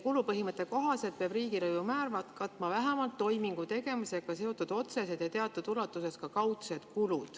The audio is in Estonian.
Kulupõhimõtte kohaselt peab riigilõivumäär katma vähemalt toimingu tegemisega seotud otsesed ja teatud ulatuses ka kaudsed kulud.